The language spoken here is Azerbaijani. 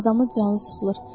Adamın canı sıxılır.